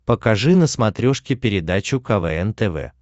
покажи на смотрешке передачу квн тв